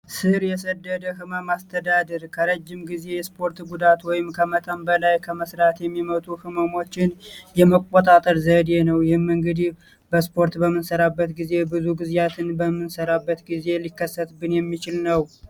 ስር የሰደደ ህመም አስተዳደር ከረጅም ጊዜ የስፖርት ጉዳት ወይም ከመጠን በላይ ከመስራት የሚመጡ ህመሞችን የመቆጣጠር ዘዴ ነው። ይህም እንግዲህ በስፖርት በምንሰራበት ጊዜ ብዙ ጊዜያትን በምንሰራበት ጊዜ ሊከሰትብን የሚችል ነው።